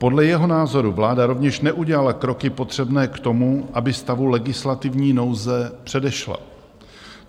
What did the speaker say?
Podle jeho názoru vláda rovněž neudělala kroky potřebné k tomu, aby stavu legislativní nouze předešla.